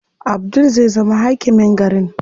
Abdul zai zama hakimin garin.